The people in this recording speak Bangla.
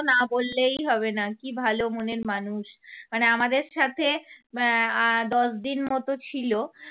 না বললেই হবে না কী ভালো মনের মানুষ। মানে আমাদের সাথে আহ আর দশ দিন মত ছিল।